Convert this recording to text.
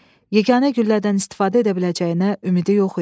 Yeganə güllədən istifadə edə biləcəyinə ümidi yox idi.